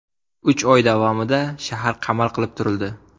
Uch oy davomida shahar qamal qilib turildi.